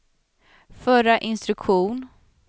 förra instruktion